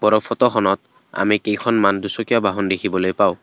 ওপৰৰ ফটোখনত আমি কেইখনমান দুচকীয়া বাহন দেখিবলৈ পাওঁ।